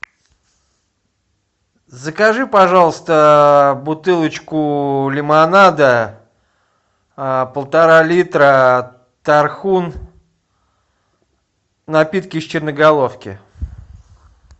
закажи пожалуйста бутылочку лимонада полтора литра тархун напитки из черноголовки